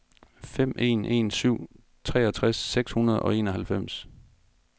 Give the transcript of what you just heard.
fem en en syv treogtres seks hundrede og enoghalvfems